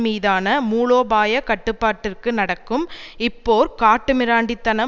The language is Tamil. மீதான மூலோபாய கட்டுப்பாட்டிற்கு நடக்கும் இப்போர் காட்டுமிராண்டி தனம்